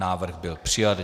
Návrh byl přijat.